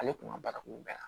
Ale kun ka baara kun bɛnna